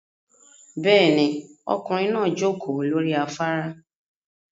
Bẹ́ẹ̀ni, ọkùnrin náà jókòó lórí afárá